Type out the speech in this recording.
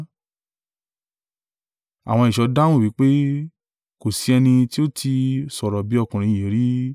Àwọn ẹ̀ṣọ́ dáhùn wí pé, “Kò sí ẹni tí ó tí ì sọ̀rọ̀ bí ọkùnrin yìí rí!”